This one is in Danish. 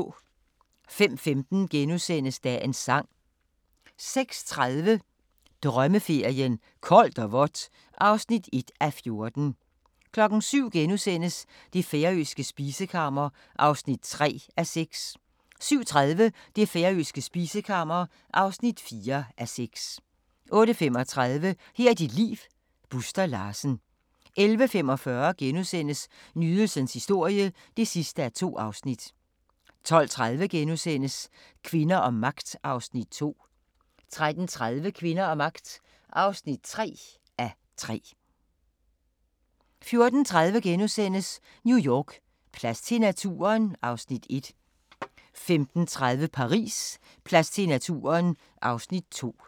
05:15: Dagens Sang * 06:30: Drømmeferien: Koldt og vådt (1:14) 07:00: Det færøske spisekammer (3:6)* 07:30: Det færøske spisekammer (4:6) 08:35: Her er dit liv - Buster Larsen 11:45: Nydelsens historie (2:2)* 12:30: Kvinder og magt (2:3)* 13:30: Kvinder og magt (3:3) 14:30: New York: Plads til naturen? (Afs. 1)* 15:30: Paris: Plads til naturen? (Afs. 2)